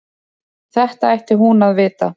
Þetta ætti hún að vita.